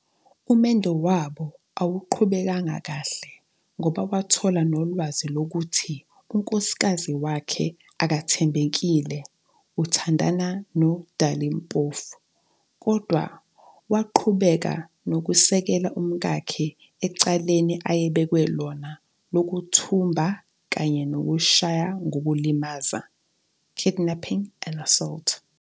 Umendo wabo awuqhubekanga kahle ngoba wathola nolwazi lokuthi unkosikazi wakhe akathembekile uthandana noDali Mpofu, kodwa waqhubeka nokusekela umkakhe ecaleni ayebekwe lona lokuthumba kanye nokushaya ngokulimaza, kidnapping and assault.